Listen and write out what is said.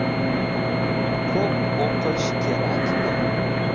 Ko‘p o‘qish kerakmi?